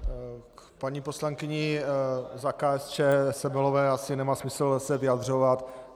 K paní poslankyni za KSČM Semelové asi nemá smysl se vyjadřovat.